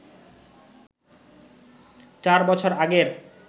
চার বছর আগের